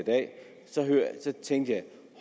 dag tænkte jeg